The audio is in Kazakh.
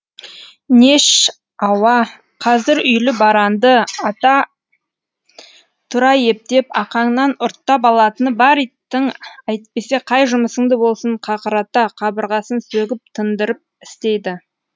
нешауа қазір үйлі баранды ара тұра ептеп ақаңнан ұрттап алатыны бар иттің әйтпесе қай жұмысыңды болсын қақырата қабырғасын сөгіп тыңдырып істейді